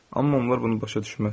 Amma onlar bunu başa düşməz.